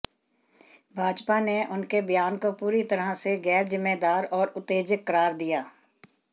भाजपा ने उनके बयान को पूरी तरह से गैरजिम्मेदार और उत्तेजक करार दिया